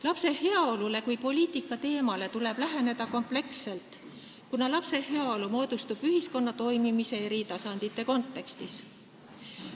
Lapse heaolule kui poliitikateemale tuleb läheneda kompleksselt, kuna lapse heaolu moodustub ühiskonna toimimise eri tasandite kontekstis.